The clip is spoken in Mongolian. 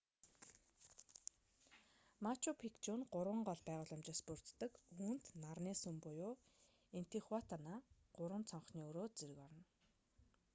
мачу пикчу нь гурван гол байгууламжаас бүрддэг үүнд нарны сүм буюу интихуатана гурван цонхны өрөө зэрэг орно